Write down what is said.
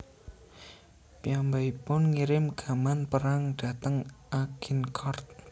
Piyambakipun ngirim gaman perang dhateng Agincourt